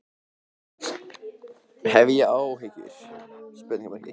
Hef ég áhyggjur?